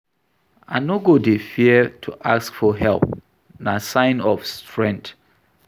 I no go dey fear to ask for help, na sign of strength.